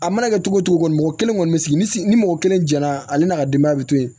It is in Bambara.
A mana kɛ cogo o cogo mɔgɔ kelen kɔni bɛ sigi ni mɔgɔ kelen jɛn na ale n'a ka denbaya bɛ to yen